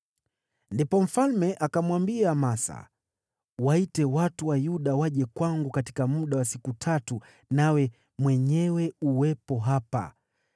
Ndipo mfalme akamwambia Amasa, “Waite watu wa Yuda waje kwangu katika muda wa siku tatu, nawe mwenyewe uwepo hapa.”